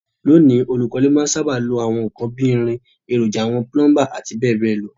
Lóní, olùkọ́lé má n sábà lo àwon nkan bi irin, èròjà àwon plumber àti béèbéè lo